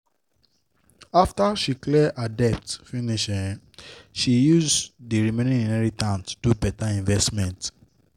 after she clear her debt finish um she use the remaining inheritance do better investment.